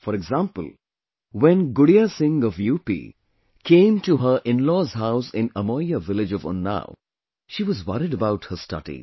For example, when Gudiya Singh of UP came to her inlaws' house in Amoiya village of Unnao, she was worried about her studies